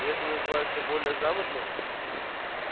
и это называется более грамотно